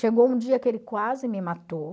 Chegou um dia que ele quase me matou.